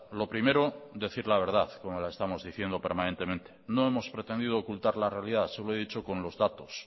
lo primero decir la verdad como la estamos diciendo permanentemente no hemos pretendido ocultar la realidad se lo he dicho con los datos